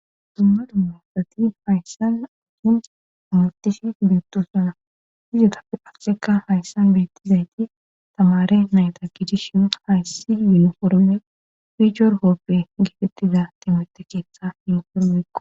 Dumma dummasati hayssanhin amutishi beettosana hizuta asseka hayssan beettizayti tamare nayta gidi shin hayssi yen horme pihor hooppe gifetiza temate keessa hen hormeqo